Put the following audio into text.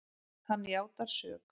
Hann játar sök.